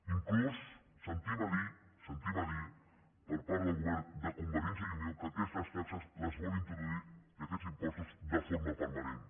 inclús sentim a dir per part del govern de convergència i unió que aquestes taxes les vol introduir i aquests impostos de forma permanent